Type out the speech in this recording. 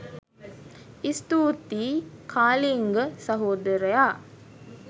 ස්තුතියි කාලිංග සහොදරයා